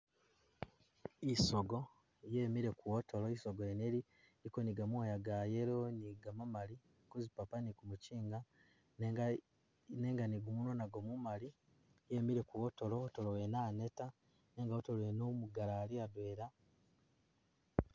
Isogo yemile ku wotolo, isogo yene ili iliko ni gamoya ga yellow ni gamamali kuzipapa ni kumukyinga nenga e nenga ni gumunwa nagwo mumali yimile ku wotolo wotolo wene aneta nenga wotolo wene umugali Ali adwela